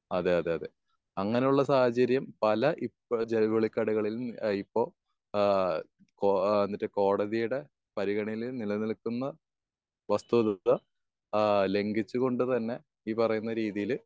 അതെ അതെ അതെ അങ്ങനെ ഉള്ള സാഹചര്യം പല ഇപ്പൊ ജൗളി കടകളിലും ഇപ്പൊ ഏഹ് ഇപ്പൊ ഏഹ് മറ്റേ കോടതിയുടെ പരിഗണനയിൽ നില നിൽക്കുന്ന വസ്തു തത്വ ഏഹ് ലംഘിച്ച് കൊണ്ട് തന്നെ ഈ പറയുന്ന രീതിയിൽ